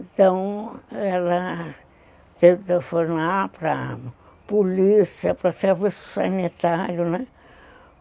Então, ela teve que telefonar para polícia, para serviço sanitário, né?